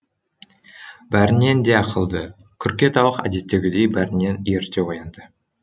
бәрінен де ақылды күрке тауық әдеттегідей бәрінен ерте оянды